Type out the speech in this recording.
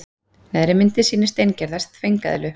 Neðri myndin sýnir steingerða þvengeðlu.